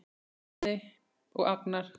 Jón Guðni, Bjarni og Agnar.